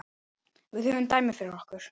Við höfum dæmin fyrir okkur.